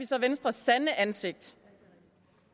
så venstres sande ansigt